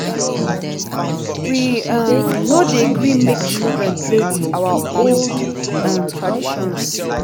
we um no dey gree make children play with our old um traditions.